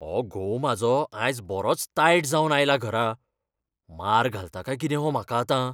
हो घोव म्हाजो आयज बरोच तायट जावन आयला घरा. मार घालता काय कितें हो म्हाका आतां?